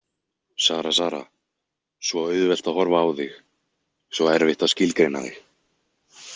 Sara, Sara, svo auðvelt að horfa á þig, svo erfitt að skilgreina þig.